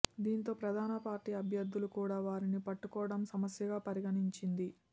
దీంతో ప్రధాన పార్టీ అభ్యర్థులు కూడా వారిని పట్టుకోవడం సమస్యగా పరిణమించింది